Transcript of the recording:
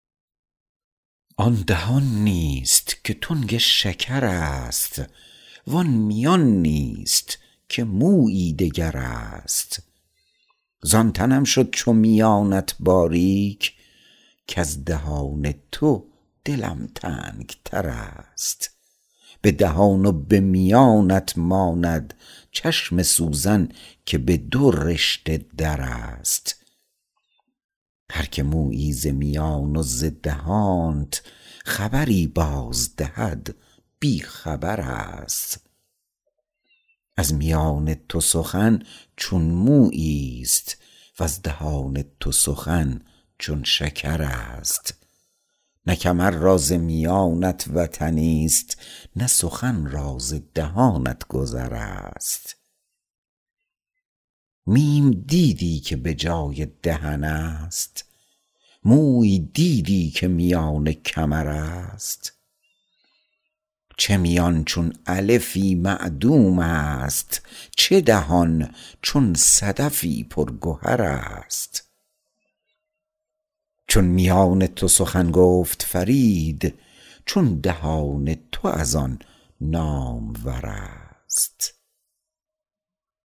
آن دهان نیست که تنگ شکر است وان میان نیست که مویی دگر است زان تنم شد چو میانت باریک کز دهان تو دلم تنگ تر است به دهان و به میانت ماند چشم سوزن که به دو رشته در است هر که مویی ز میان و ز دهانت خبری باز دهد بی خبر است از میان تو سخن چون مویی است وز دهان تو سخن چون شکر است نه کمر را ز میانت وطنی است نه سخن را ز دهانت گذر است میم دیدی که به جای دهن است موی دیدی که میان کمر است چه میان چون الفی معدوم است چه دهان چون صدفی پر گوهر است چون میان تو سخن گفت فرید چون دهان تو از آن نامور است